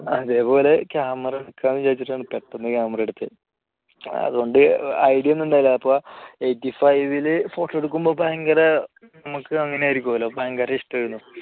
അതേപോലെ camera എടുക്കാമെന്ന് വിചാരിച്ചിട്ടാണ് പെട്ടെന്ന് camera എടുത്തത് അതുകൊണ്ട് idea ഒന്നും ഉണ്ടായിരുന്നില്ല അപ്പോൾ eighty five ല് photo എടുക്കുമ്പോൾ ഭയങ്കര നമുക്ക് അങ്ങനെ ആയിരിക്കുമല്ലോ ഭയങ്കര ഇഷ്ടമായിരുന്നു